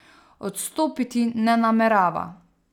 Odstopiti ne namerava.